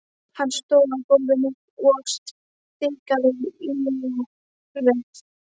Hann stóð á gólfinu og stikaði léreft.